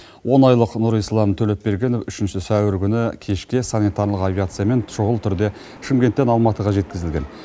он айлық нұрислам төлепбергенов үшінші сәуір күні кешке санитарлық авиациямен шұғыл түрде шымкенттен алматыға жеткізілген